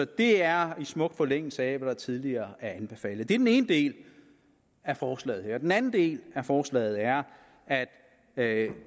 det er i smuk forlængelse af hvad der tidligere er anbefalet det er den ene del af forslaget her den anden del af forslaget er at